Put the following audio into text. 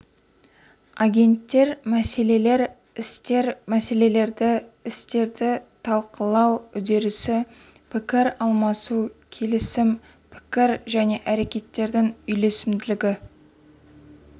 агенттер мәселелер істер мәселелерді істерді талқылау үдерісі пікір алмасу келісім пікір мен әрекеттердің үйлесімділігі